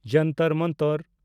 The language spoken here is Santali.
ᱡᱚᱱᱛᱚᱨ ᱢᱚᱱᱛᱚᱨ